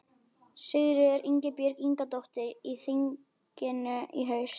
Sigríður Ingibjörg Ingadóttir: Í þinginu í haust?